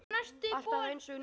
Alltaf einsog nýr.